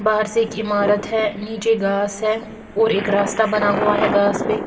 बाहर से एक ईमारत है नीचे घास है और एक रास्ता बना हुआ है घास पर--